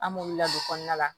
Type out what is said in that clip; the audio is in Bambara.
An b'olu ladon kɔnɔna la